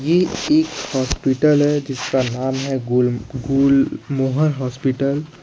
इह एक हॉस्पिटल है जिसका नाम है गुल गुलमोहर हॉस्पिटल ।